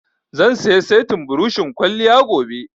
Zan saya settin buroshin kwalliya gobe